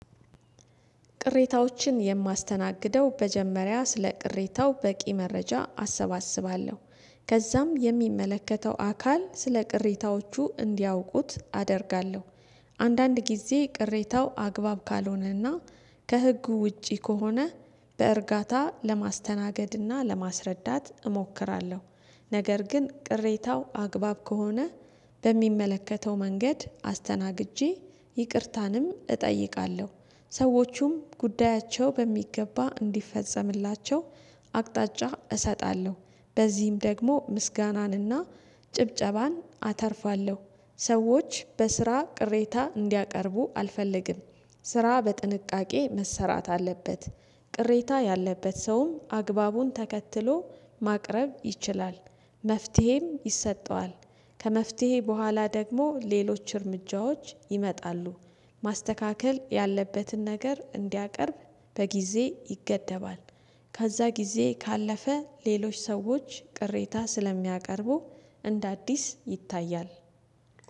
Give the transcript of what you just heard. ቅሬታዎችን የማስተናግደው በጀመሪያ ስለ ቅሬታው በቂ መረጃ አሰባስባለሁ ከዛም የሚመለከተው አካል ስለ ቅሬታዎቹ እንዲያውቁት አደርጋለሁ። አንዳንድ ጊዜ ቅሬታው አግባብ ካልሆነና ከህጉ ውጪ ከሆነ በእርጋታ ለማስተናገድና ለማስረዳት እሞክራለሁ። ነገር ግን ቅሬታው አግባብ ከሆነ በሚመለከተው መንገድ አስተናግጄ ይቅርታንም እጠይቃለሁ ሰዎቹም ጉዳያቸው በሚገባ እንዲፈጸምላቸው አቅጣጫ እሰጣለሁ በዚህም ደግሞ ምስጋናንና ጭብጨባን አተርፋለሁ። ሰዎች በስራ ቅሬታ እንዲያቀርቡ አልፈልግም። ስራ በጥንቃቄ መሰራት አለበት። ቅሬታ ያለበት ሰውም አግባቡን ተከትሎ ማቅረብ ይችላል። መፍትሄም ይሰጠዋል። ከመፍትሄ በኋላ ደግሞ ሌሎች እርምጃዎች ይመጣሉ። ማስተካከል ያለበትን ነገር እንዲያቀርብ በጊዜ ይገደባል። ከዛ ጊዜ ካለፈ ሌሎች ሰዎች ቅሬታ ስለሚያቀርቡ እንደ አዲስ ይታያል